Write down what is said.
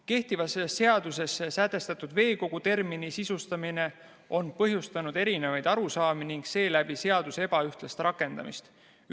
Kehtivas seaduses sätestatud veekogu termini sisustamine on põhjustanud erinevaid arusaamu ning seeläbi seaduse ebaühtlast rakendamist.